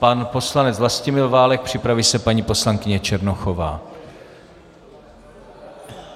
Pan poslanec Vlastimil Válek, připraví se paní poslankyně Černochová.